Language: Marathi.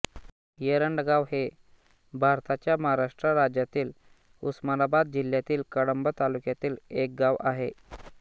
येरंडगाव हे भारताच्या महाराष्ट्र राज्यातील उस्मानाबाद जिल्ह्यातील कळंब तालुक्यातील एक गाव आहे